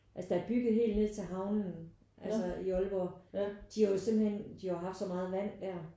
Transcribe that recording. Altså der er bygget helt ned til havnen altså i Aalborg de har jo simpelthen de har jo haft så meget vand der